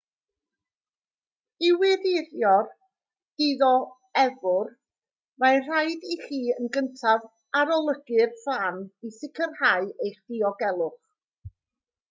i wirio'r dioddefwr mae'n rhaid i chi yn gyntaf arolygu'r fan i sicrhau eich diogelwch